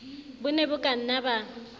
bo ne bo kanna ba